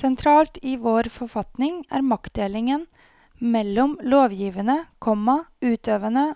Sentralt i vår forfatning er maktdelingen mellom lovgivende, komma utøvende